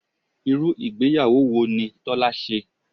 Irú ìgbéyàwó wo ni Tọ́lá ṣe?